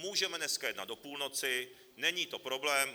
Můžeme dneska jednat do půlnoci, není to problém.